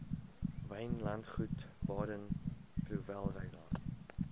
wynlandgoed baden powellrylaan